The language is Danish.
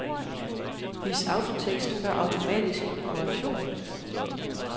Vis autotekst før automatisk korrektion.